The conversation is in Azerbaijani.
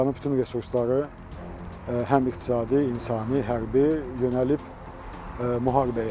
İranın bütün resursları həm iqtisadi, insani, hərbi yönəlib müharibəyə.